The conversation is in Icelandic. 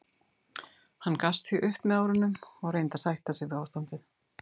Hann gafst því upp með árunum og reyndi að sætta sig við ástandið.